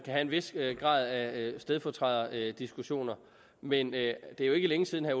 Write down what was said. have en vis grad af stedfortræderdiskussioner men det er jo ikke længe siden at